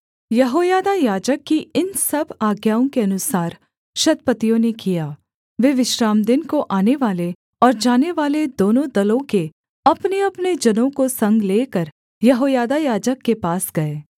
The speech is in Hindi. यहोयादा याजक की इन सब आज्ञाओं के अनुसार शतपतियों ने किया वे विश्रामदिन को आनेवाले और जानेवाले दोनों दलों के अपनेअपने जनों को संग लेकर यहोयादा याजक के पास गए